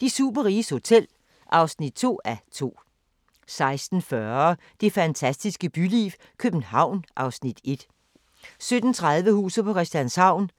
De superriges hotel (2:2)* 16:40: Det fantastiske byliv – København (Afs. 1) 17:30: Huset på Christianshavn